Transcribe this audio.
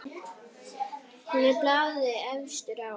Hann er blaði efstur á.